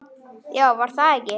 Já, var það ekki!